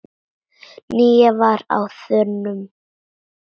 Nína var á þönum.